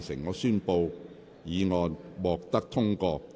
我宣布議案獲得通過。